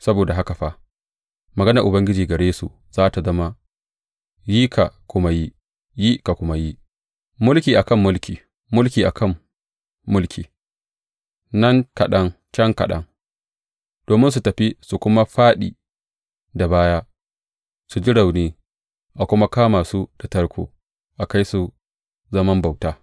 Saboda haka fa, maganar Ubangiji gare su za tă zama, Yi ka kuma yi, yi ka kuma yi, mulki akan mulki, mulki a kan mulki; nan kaɗan, can kaɗan, domin su tafi su kuma fāɗi da baya, su ji rauni a kuma kama su da tarko, a kai su zaman bauta.